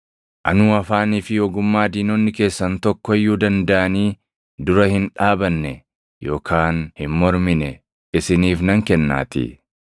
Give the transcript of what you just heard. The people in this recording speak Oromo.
Anuu afaanii fi ogummaa diinonni keessan tokko iyyuu dandaʼanii dura hin dhaabanne yookaan hin mormine isiniif nan kennaatii.